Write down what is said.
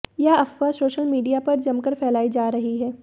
यह अफ़वाह social media पर जमकर फ़ैलाई जा रही है